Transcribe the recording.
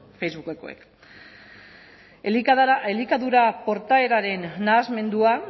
facebookekoek elikadura portaeraren nahasmenduan